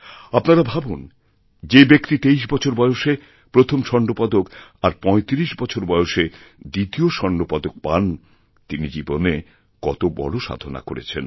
আপনারা ভাবুন যে ব্যক্তি তেইশ বছর বয়সে প্রথম স্বর্ণপদক আর পঁয়ত্রিশ বছর বয়সেদ্বিতীয় স্বর্ণপদক পান তিনি জীবনে কত বড় সাধনা করেছেন